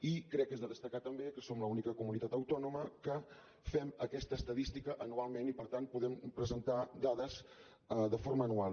i crec que és de destacar també que som l’única comunitat autònoma que fem aquesta estadística anualment i per tant podem presentar dades de forma anual